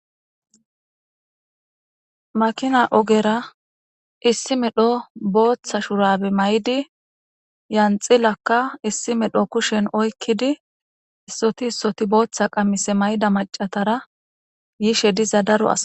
makina ogera issi medho booththa shurabe may7idi yanxilakka issi medho kushen oykkidi issoti issoti booththa qamise mayda macatara yishe diza daro asi